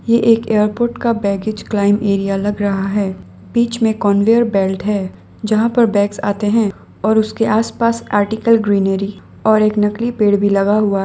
ये एक एयरपोर्ट का बैगेज क्लाइंम एरिया लग रहा है बीच में कन्वेयर बेल्ट है जहां पर बैग्स आते हैं और उसके आसपास आर्टिकल ग्रीनरी और एक नकली पेड़ भी लगा हुआ--